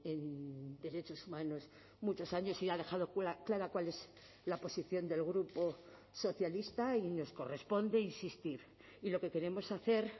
en derechos humanos muchos años y ha dejado clara cuál es la posición del grupo socialista y nos corresponde insistir y lo que queremos hacer